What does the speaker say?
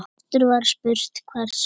Aftur var spurt: Hvers vegna?